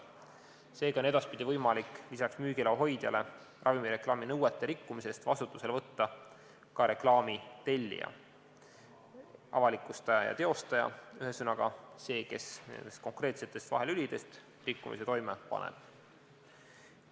Seega on edaspidi võimalik lisaks müügiloa hoidjale ravimireklaami nõuete rikkumise eest vastutusele võtta ka reklaami tellija, avalikustaja ja teostaja, ühesõnaga see, kes nendest konkreetsetest vahelülidest rikkumise toime paneb.